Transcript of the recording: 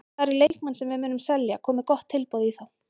Það eru leikmenn sem við munum selja komi gott tilboð í þá.